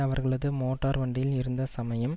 அவர்களது மோட்டார் வண்டியில் இருந்த சமயம்